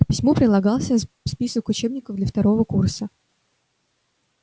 к письму прилагался список учебников для второго курса